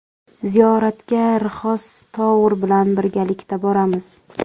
Ziyoratga Rixos Tour bilan birgalikda boramiz.